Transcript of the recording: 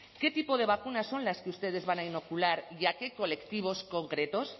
qué tipo de vacunas son las que ustedes van a inocular y a qué colectivos concretos